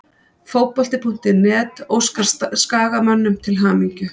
Fótbolti.net óskar Skagamönnum til hamingju.